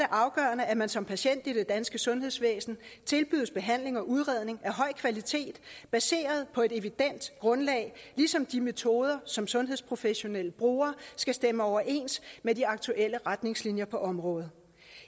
afgørende at man som patient i det danske sundhedsvæsen tilbydes behandling og udredning af høj kvalitet baseret på et evident grundlag ligesom de metoder som sundhedsprofessionelle bruger skal stemme overens med de aktuelle retningslinjer på området